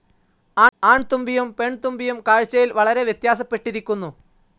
ആൺതുമ്പിയും പെൺതുമ്പിയും കാഴ്ച്ചയിൽ വളരെ വ്യത്യാസപ്പെട്ടിരിക്കുന്നു.